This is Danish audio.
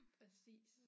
Præcis